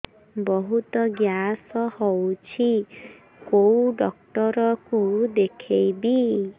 ବହୁତ ଗ୍ୟାସ ହଉଛି କୋଉ ଡକ୍ଟର କୁ ଦେଖେଇବି